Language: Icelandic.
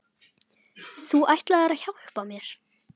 ! Þú ætlaðir að hjálpa mér.